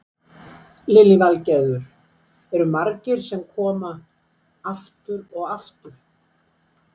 Lillý Valgerður: Eru margir sem koma aftur og aftur?